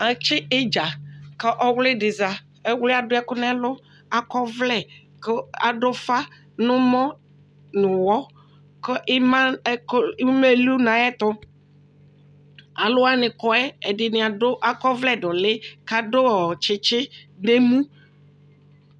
Atsɩ idzǝ kʊ ɔwlɩdɩ za Ɔwli yɛ adʊ ɛkʊ nʊ ɛlʊ, akɔ ɔvlɛ, kʊ adʊ ʊfa nʊ ɛmɔ nʊ ɔwɔ kʊ ɩma elu nʊ ayɛtʊ Alʊwani kɔ yɛ ɛdɩnɩ akɔ ɔvlɛ nʊ ʊlɩ ƙʊ akɔ tsitsi nʊ emu